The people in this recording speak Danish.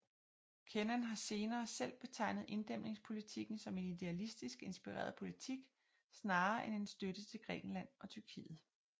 Kennan har senere selv betegnet inddæmningspolitikken som en idealistisk inspireret politik snarere end en støtte til Grækenland og Tyrkiet